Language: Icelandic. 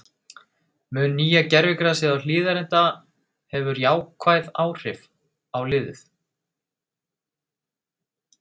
Mun nýja gervigrasið á Hlíðarenda hefur jákvæð áhrif á liðið?